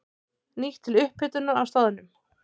Nýtt til upphitunar á staðnum.